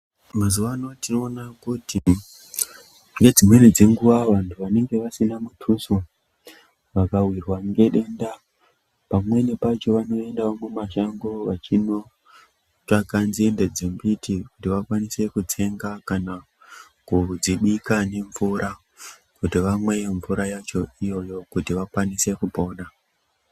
Mazuva ano tinoona kuti nedzimweni dzenguva vandu vanenge vasina mututso vakawirwa ngedenda pamweni pacho vanoendawo mumashango vachinotsvaga nzinde dzembiti kuti vakwanise kutenga kana kudzibika nemvura kuitira kuti vamwe mvura yacho iyoyo kuti vakwanise kupona.